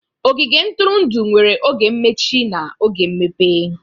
Ogige ntụrụndụ nwere oge mmechi na oge mmepe